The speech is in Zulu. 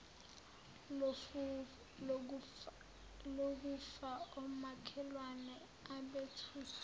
lokufa omakhelwane abethuswa